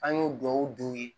An y'o duwawuw don